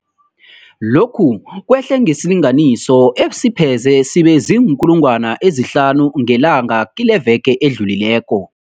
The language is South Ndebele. Lokhu kwehle ngesilinganiso esipheze sibe ziinkulungwana ezihlanu ngelanga kileveke edlulileko.